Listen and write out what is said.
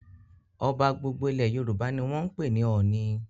Ọba gbogbo ilẹ̀ Yorùbá ni wọ́n ń pè ní 'Ọọ̀ni'.